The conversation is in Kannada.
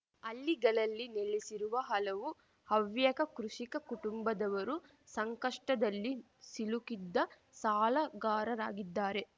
ಹಳ್ಳಿಗಳಲ್ಲಿ ನೆಲೆಸಿರುವ ಹಲವು ಹವ್ಯಕ ಕೃಷಿಕ ಕುಟುಂಬದವರು ಸಂಕಷ್ಟದಲ್ಲಿ ಸಿಲುಕಿದ್ದ ಸಾಲಗಾರರಾಗಿದ್ದಾರೆ